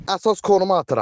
Əsas koruma atıram.